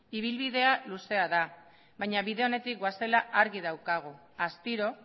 ibilbidea luzea da baina bide onetik goazela argi daukagu astiro